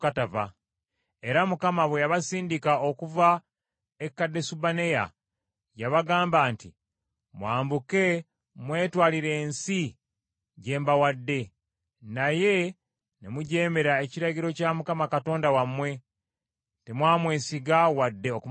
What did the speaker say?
Era Mukama bwe yabasindika okuva e Kadesubanea, yabagamba nti, “Mwambuke mwetwalire ensi gye mbawadde.” Naye ne mujeemera ekiragiro kya Mukama Katonda wammwe. Temwamwesiga wadde okumugondera.